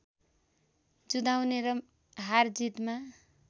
जुधाउने र हारजितमा